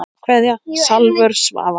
Kveðja Salvör Svava.